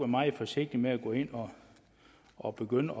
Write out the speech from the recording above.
meget forsigtig med at gå ind og begynde